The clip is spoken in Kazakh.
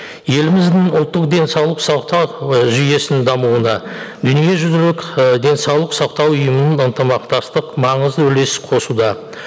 еліміздің ұлттық денсаулық сақтау і жүйесін дамуына дүниежүзілік ы денсаулық сақтау ұйымының ынтымақтастық маңызды үлес қосуда